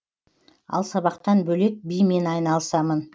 ал сабақтан бөлек бимен айналысамын